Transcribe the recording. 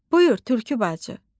Buyur, Tülkü bacı.